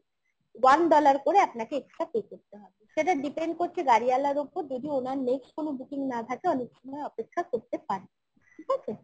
one dollar করে আপনাকে extra pay করতে হবে সেটা depend করছে গাড়িওয়ালার ওপর যদি ওনার next কোনো booking না থাকে অনেক সময় অপেক্ষা করতে পারেন